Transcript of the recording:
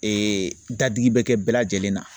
Ee dadigi bɛ kɛ bɛɛ lajɛlen na